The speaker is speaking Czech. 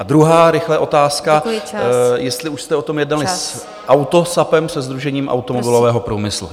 A druhá - rychle - otázka , jestli už jste o tom jednali s AutoSAPem, se Sdružením automobilového průmyslu.